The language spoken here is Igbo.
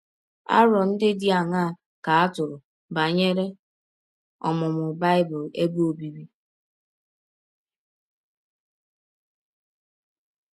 Arọ ndị dị aṅaa ka a tụrụ banyere ọmụmụ Bible ebe ọbịbị?